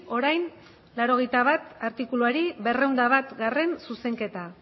orain laurogeita bat artikuluari ehun eta batgarrena zuzenketa